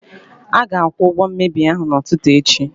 A ga-akwụ ụgwọ mmebi ahụ n'ụtụtụ echi.